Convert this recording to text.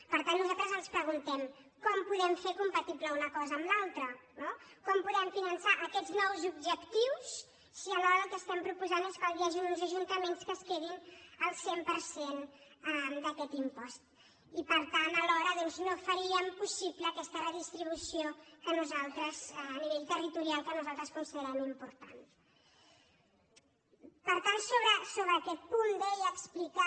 per tant nosaltres ens preguntem com podem fer compatible una cosa amb l’altra com podem finançar aquests nous objectius si alhora el que estem proposant és que hi hagin uns ajuntaments que es quedin el cent per cent d’aquest impost i per tant alhora no faríem possible aquesta redistribució a nivell territorial que nosaltres considerem important per tant sobre aquest punt deia explicar